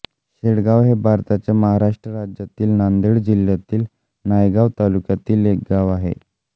शेळगाव हे भारताच्या महाराष्ट्र राज्यातील नांदेड जिल्ह्यातील नायगाव तालुक्यातील एक गाव आहे